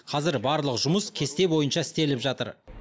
қазір барлық жұмыс кесте бойынша істеліп жатыр